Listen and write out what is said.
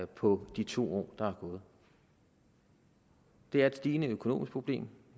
på de to år der er gået det er et stigende økonomisk problem